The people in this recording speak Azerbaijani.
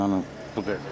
Yəni bu qədər.